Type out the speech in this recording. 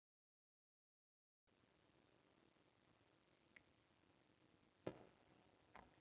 Ég dó, bókstaflega.